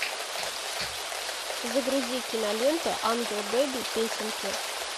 загрузи кинолент ангел бэби песенки